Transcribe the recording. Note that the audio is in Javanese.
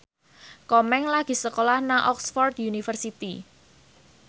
Komeng lagi sekolah nang Oxford university